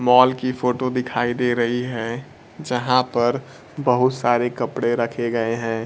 Mall की photo दिखाई दे रही है जहां पर बहुत सारे कपड़े रखे गए हैं।